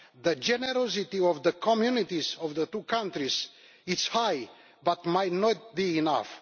The generosity of the communities in the two countries is high, but it might not be enough.